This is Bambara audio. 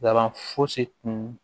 Laban fosi tun